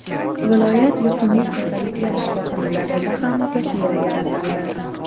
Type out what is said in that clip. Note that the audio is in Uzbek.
Viloyat yuqumli kasalliklar shifoxonalarida ham zaxira yaratildi.